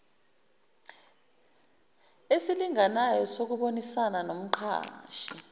esilinganayo sokubonisana nomqashi